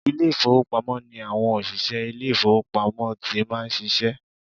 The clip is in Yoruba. Ilé ìfowópamọ́ ni àwọn òṣìsẹ́ ilé ìfowópamọ́ ti máa ń ṣiṣẹ́